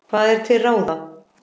Hvað er til ráða